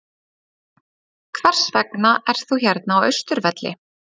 Hvers vegna ert þú hérna á Austurvelli?